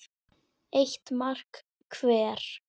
Eitt mark hver.